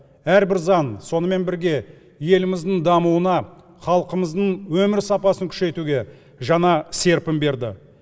әрбір заң сонымен бірге еліміздің дамуына халқымыздың өмір сапасын күшейтуге жаңа серпін берді